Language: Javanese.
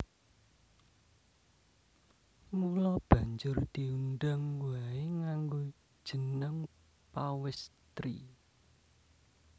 Mula banjur diundang waé nganggo jeneng Pawèstri